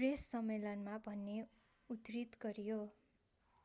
press सम्मेलनमा भनेको उद्धृत गरियो